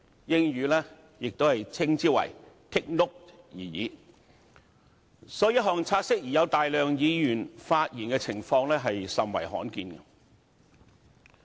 所以，有大量議員就一項"察悉議案"發言的情況，甚為罕見。